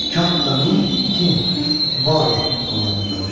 Kaf və nun kun bar ol anlamındadır.